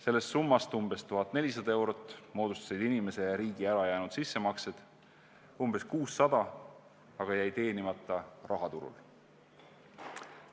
Sellest summast umbes 1400 eurot moodustasid inimese ja riigi ära jäänud sissemaksed, umbes 600 eurot aga jäi teenimata rahaturul.